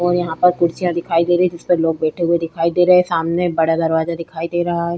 और यहाँ पर कुर्सियां दिखाई दे रही है जिसपे लोग बैठे हुए दिखाई दे रहे है सामने बड़ा दरवाजा दिखाई दे रहा है ।